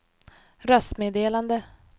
röstmeddelande